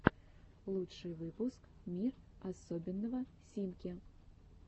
лучший выпуск мир особенного симки